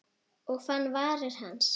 Og fann varir hans.